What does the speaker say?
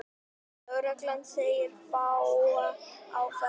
Lögreglan segir fáa á ferli